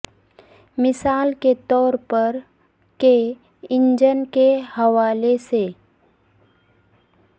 مثال کے طور پر کے انجن کے حوالے سے